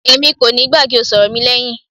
Èmi kò níí gbà kí o ṣọ ọ̀rọ̀ mi lẹhin.